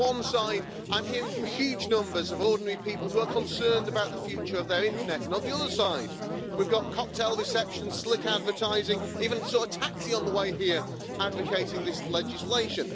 On one side I'm hearing from huge numbers of ordinary people who are concerned about the future of their Internet, and on the other side, we've got cocktail receptions, slick advertising, even saw a taxi on the way here advocating this legislation.